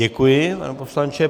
Děkuji, pane poslanče.